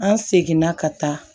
An seginna ka taa